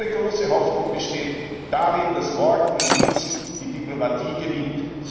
Unsere große Hoffnung besteht darin, dass morgen in Minsk die Diplomatie gewinnt.